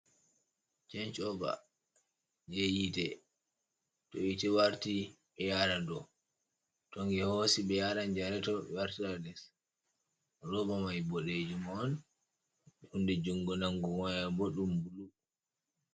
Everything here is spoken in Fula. Chenj ova jei yite. To yite warti ɓe yara dou, to nge hosi ɓe yaran janareto bo ɓe wartira les. Roba mai boɗejum on, hunde jungo nangugo mai bo ɗum bulu.